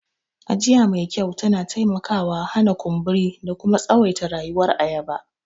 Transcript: Ajiya me kyau tana taimakawa hana kumburi da kuma tsawaita rayuwar ayaba.